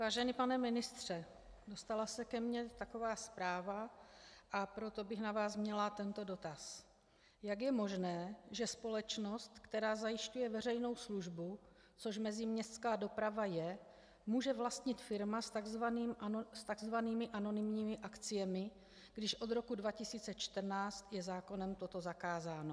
Vážený pane ministře, dostala se ke mně taková zpráva, a proto bych na vás měla tento dotaz: Jak je možné, že společnost, která zajišťuje veřejnou službu, což meziměstská doprava je, může vlastnit firma s tzv. anonymními akciemi, když od roku 2014 je zákonem toto zakázáno?